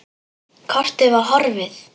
Kortið var horfið!